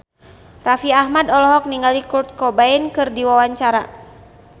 Raffi Ahmad olohok ningali Kurt Cobain keur diwawancara